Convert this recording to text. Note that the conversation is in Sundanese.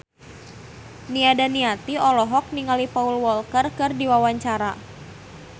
Nia Daniati olohok ningali Paul Walker keur diwawancara